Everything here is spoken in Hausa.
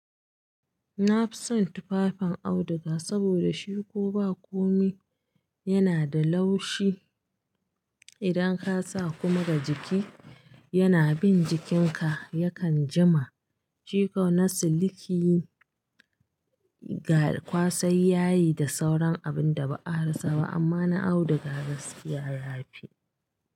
Na fi son tufafin auduga saboda shi ko ba komi yana da laushi. Idan ka sa kuma ga jiki, yana bin jikinka yakan jima. Shi kau na siliki ga kwasai yayi da sauran abin da ba a rasa ba amma na auduga gaskiya ya fi.